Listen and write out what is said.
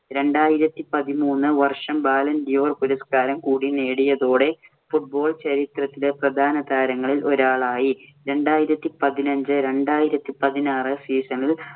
രണ്ടായിരത്തി പതിമൂന്ന് വർഷം balloon D'or പുരസ്കാരം കൂടി നേടിയതോടെ football ചരിത്രത്തിലെ താരങ്ങളിൽ ഒരാളായി. രണ്ടായിരത്തി പതിനഞ്ച്-രണ്ടായിരത്തി പതിനാറ് season ഇല്‍